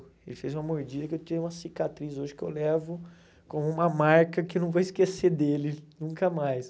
Ele fez uma mordida que eu tenho uma cicatriz hoje que eu levo como uma marca que eu não vou esquecer dele nunca mais.